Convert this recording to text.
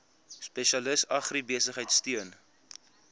spesialis agribesigheid steun